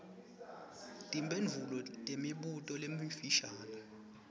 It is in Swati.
timphendvulo temibuto lemifishane